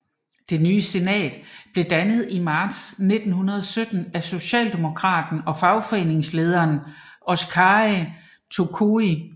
Det nye Senat blev dannet i marts 1917 af socialdemokraten og fagforeningslederen Oskari Tokoi